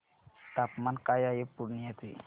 तापमान काय आहे पूर्णिया चे